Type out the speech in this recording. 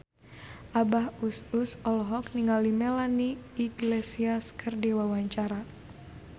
Abah Us Us olohok ningali Melanie Iglesias keur diwawancara